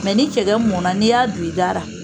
ni cɛkɛ mɔnna n'i y'a do i da ra.